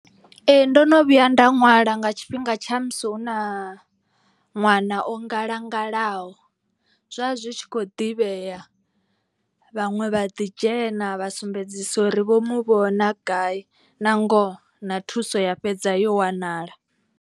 Ee ndo no vhuya nda ṅwala nga tshifhinga tsha musi hu na ṅwana o ngalangalaho. Zwa zwi tshi kho ḓivhea vhaṅwe vha ḓi dzhena vha sumbedzisa uri vho mu vhona gai na ngoho na thuso ya fhedza yo wanala.